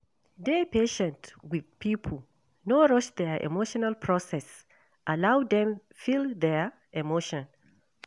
Dey patient with pipo, no rush their emotional process, allow dem feel their emotion